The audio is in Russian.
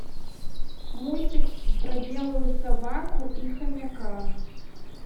мультик про белую собаку и хомяка